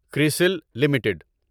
کرسل limited